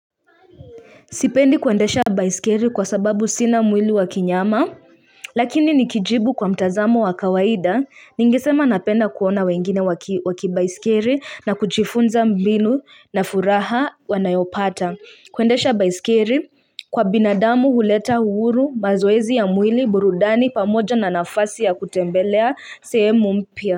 Sipendi kuendesha baiskeli kwa sababu sina mwili wa kinyama Lakini nikijibu kwa mtazamo wa kawaida ningesema napenda kuona wengine waki baisikeli na kujifunza mbinu na furaha wanayopata kuendesha baiskeli kwa binadamu huleta uhuru mazoezi ya mwili burudani pamoja na nafasi ya kutembelea sehemu mpia.